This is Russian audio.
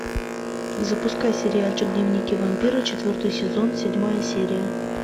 запускай сериальчик дневники вампира четвертый сезон седьмая серия